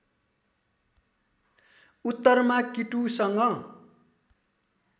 उत्तरमा किटुसँग